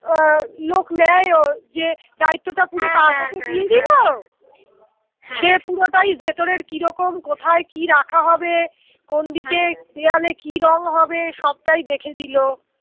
আহ লোক নেয় ও যে দায়িত্বটা পুরো হা হা হা তার হাতে দিয়ে দিল হা সে পুরোটাই ভেতরের কিরকম কোথায় কি রাখা হবে? কোন দিকে হা দেয়ালে কি রং হবে সবটাই দেখে দিল